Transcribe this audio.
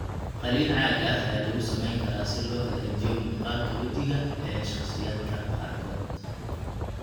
Qaliin caag ah ayaa lagu samayn karaa si loo hagaajiyo muuqaalka wejiga ee shakhsiyaadka qaarkood.